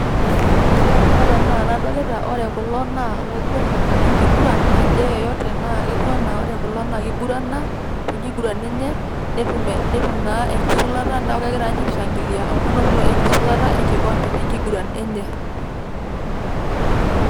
ore kulo naa ilanguranak lengiguran ake yeyote naje yeyote, naa ketiu anaa ore kulo naa kingurana tekiguran enye netum naa ekisulata ,neeku kegira niche aishangilia amu enoto niche engisulata enye.